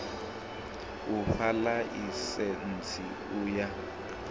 u fha ḽaisentsi u ya